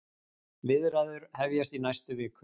Viðræður hefjast í næstu viku